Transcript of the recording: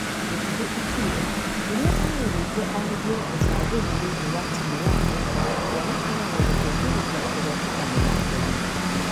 Gitahi akĩuga rĩrĩa arũririo arĩrie ũcagũri thĩinĩ wa timũ yake , matua makoragwo gũtĩithĩreria kũhotana mũthako-inĩ.